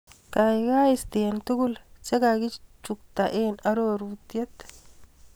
Kaikai istee tukul chekakichukta eng arorutiet.